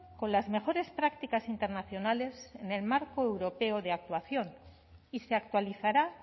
con las mejores prácticas internacionales en el marco europeo de actuación y se actualizará